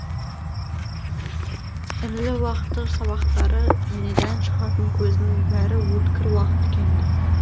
ірілі уақты сабақтары және дән шығатын көзінің бәрі өткір уақ тікенді